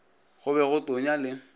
go be go tonya le